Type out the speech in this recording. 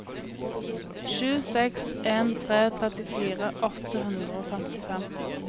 sju seks en tre trettifire åtte hundre og femtifem